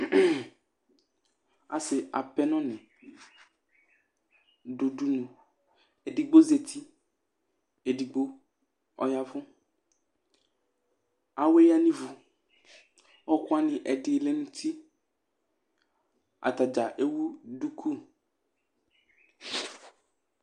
Asɩ apɛnɔnɩ dʋ udunu Edigbo zati, edigbo ɔya ɛvʋ Awɛ yǝ nʋ ivu Ɔɣɔkʋ wanɩ, ɛdɩ lɛ nʋ uti Ata dza ewu duku